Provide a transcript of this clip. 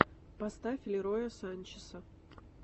поставь лероя санчеса